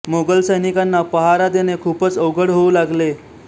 मोगल सैनिकांना पहारा देणे खूपच अवघड होऊ लागले